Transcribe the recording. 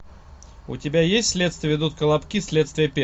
у тебя есть следствие ведут колобки следствие